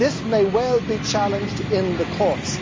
This may well be challenged in the courts.